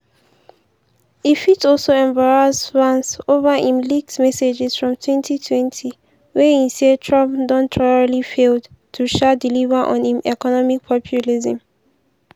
e fit also embarrass vance over im leaked messages from 2020 wia e say trump don "thoroughly failed to um deliver on im economic populism".